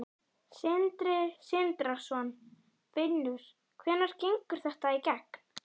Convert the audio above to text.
Sindri Sindrason: Finnur hvenær gengur þetta í gegn?